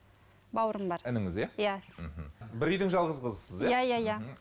бауырым бар ініңіз иә мхм бір үйдің жалғыз қызысыз иә иә иә